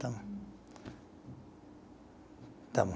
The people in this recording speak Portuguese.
Tá bom. Tá bom.